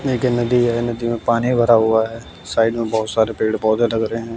यह एक नदी है नदी में पानी भरा हुआ है साइड में बहुत सारे पेड़ पौधे लग रहे हैं।